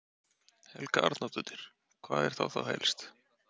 Helga Arnardóttir: Hvað er það þá helst?